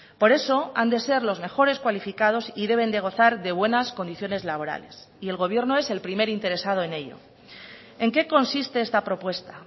por eso han de ser los mejores cualificados y deben de gozar de buenas condiciones laborales y el gobierno es el primer interesado en ello en qué consiste esta propuesta